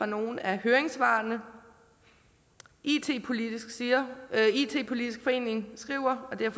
nogle af høringssvarene it politisk it politisk forening skriver og det er